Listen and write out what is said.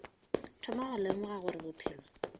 thoma go lemoga gore bophelo